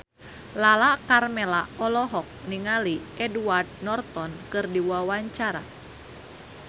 Lala Karmela olohok ningali Edward Norton keur diwawancara